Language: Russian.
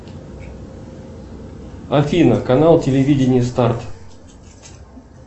афина канал телевидение старт